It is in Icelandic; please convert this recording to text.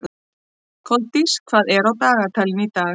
Koldís, hvað er á dagatalinu í dag?